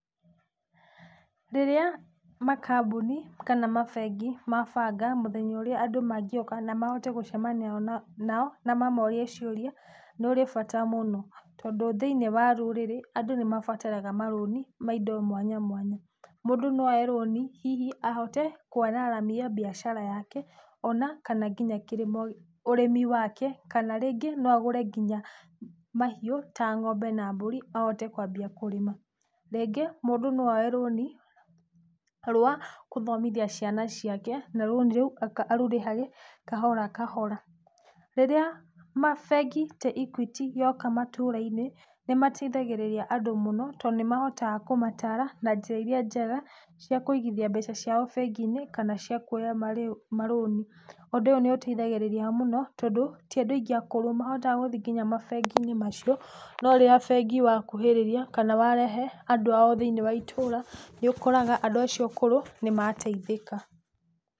Rĩrĩa makambuni kana mabengi mabanga mũthenya ũrĩa andũ mangĩũka na mahote gũcemania nao, na mamorie ciũria, nĩũrĩ bata mũno, tondũ thĩinĩ wa rũrĩrĩ andũ nĩmabataraga marũni ma indo mwanyamwanya. Mũndũ no oye rũni hihi ahote kwararamia biacara yake, ona kana nginya kĩrĩmo ũrĩmi wake, kana rĩngĩ no agũre ngũnya mahiũ ta ngombe na mbũri, ahote kwamba kũrima. Rĩngĩ mũndũ no oye rũni rwa gũthomithia ciana ciake na rũni rũu arũrĩhage kahorakahora. Rĩrĩa mabengi ta Equity yoka matũrainĩ, nĩmatithagĩrĩria andũ mũno, tondũ nĩmahotaga kũmatara na njĩra iria njega, cia kũigithia mbeca ciao bengiinĩ kana cia kuoya marĩu marũni. Ũndũ ũyũ nĩũteithagĩrĩrĩa mũno, tondũ, ti andũ aingĩ akũrũ mahotaga gũthĩi nginya mabenginĩ macio, na rĩrĩa bengi wakuhĩrĩria, kana warehe andũ ao thĩini wa itũra, nĩukoraga andũ acio akũrũ nĩ mateithĩka.